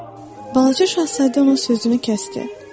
Balaca şahzadə ona sözünü kəsdi.